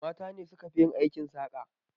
Mata ne suka fi yin aikin saƙa.